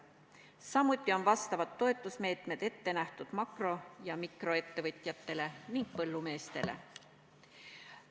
Samuti on vastavad toetusmeetmed ette nähtud makro- ja mikroettevõtjatele ning põllumeestele.